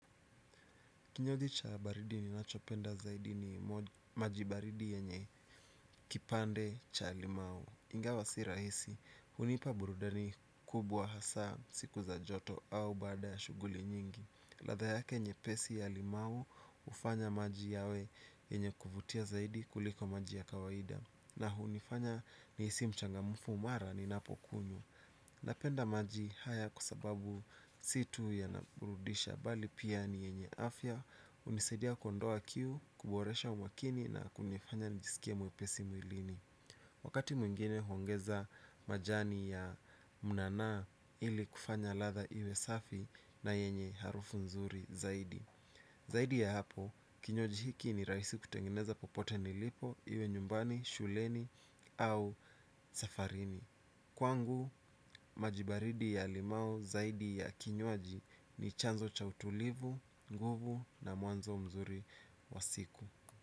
Kinywaji cha baridi ninachopenda zaidi ni maji baridi yenye kipande cha limau. Ingawa si rahisi, hunipa burudani kubwa hasa siku za joto au baada ya shughuli nyingi. Latha yake nyepesi ya limau hufanya maji yawe yenye kuvutia zaidi kuliko maji ya kawaida. Na hunifanya niisi mchangamfu mara ninapokunywa. Napenda maji haya kwa sababu si tu yanaburudisha bali pia ni yenye afya unisaidia kondoa kiu kuboresha umakini na kunifanya nijisikie mwepesi mwilini. Wakati mwingine huongeza majani ya mnanaa ili kufanya latha iwe safi na yenye harufu nzuri zaidi. Zaidi ya hapo kinywaji hiki ni raisi kutengeneza popote nilipo iwe nyumbani shuleni au safarini. Kwangu maji baridi ya limao zaidi ya kinywaji ni chanzo cha utulivu, nguvu na mwanzo mzuri wa siku.